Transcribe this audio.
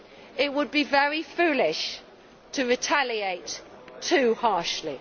It would be very foolish to retaliate too harshly.